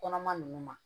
Kɔnɔma ninnu ma